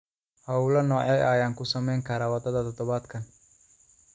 hawlo noocee ah ayaan ku samayn karaa wadada todobaadkan